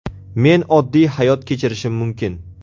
Men oddiy hayot kechirishim mumkin.